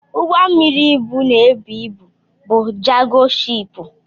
Ụgbọ mmiri ibu na-ebu ibu bụ Jago shiipu.